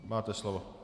Máte slovo.